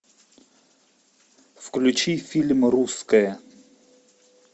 включи фильм русское